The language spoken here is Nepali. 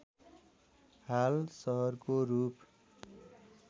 हाल सहरको रूप